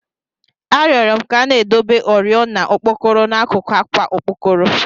A rioro m ka a na-edebe oriọna okpokoro n'akụkụ àkwà okpokoro